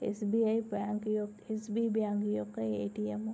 SBI bank SBI bank యొక్క ATM --